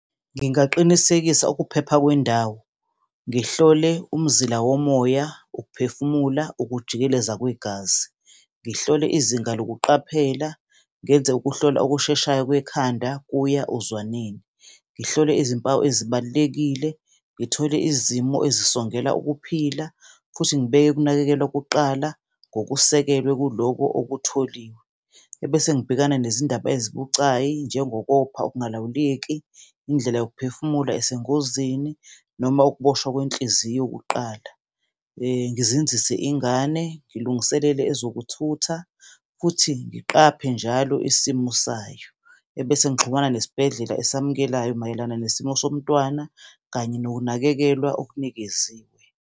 Ngingaqinisekisa ukuphepha kwendawo, ngihlole umzila womoya, ukuphefumula, ukujikeleza kwegazi, ngihlole izinga lokuqaphela, ngenze ukuhlolwa okusheshayo kwekhanda kuya ozwaneni, ngihlole izimpawu ezibalulekile, ngithole izimo ezisongela ukuphila futhi ngibeke ukunakekelwa kuqala ngokusekelwe kuloko okutholiwe. Ebese ngibhekana nezindaba ezibucayi, njengokopha ongalawuleki, indlela yokuphefumula esengozini, noma ukuboshwa kwenhliziyo kuqala. Ngizinzise ingane, ngilungiselele ezokuthutha futhi ngiqaphe njalo isimo sayo. Ebese ngixhumana nesibhedlela esamukelekayo mayelana nesimo somntwana, kanye nokunakekelwa okunikeziwe.